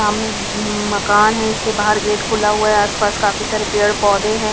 सामने मकान है इसके बाहर गेट खुला हुआ है आसपास काफी सारे पेड़ पौधे हैं.